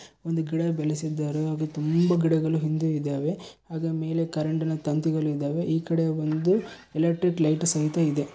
ಒಂದು ಗಿಡ ಬೆಳೆಸಿದ್ದಾರೆ ಹಾಗೂ ತುಂಬಾ ಗಿಡಗಳು ಹಿಂದೆ ಇದ್ದಾವೆ ಅದರ ಮೇಲೆ ಕರೆಂಟಿನ ತಂತಿಗಳು ಇದಾವೆ. ಈ ಕಡೆ ಒಂದು ಎಲೆಕ್ಟ್ರಿಕ್ ಲೈಟು ಸಹಿತ ಇದೆ.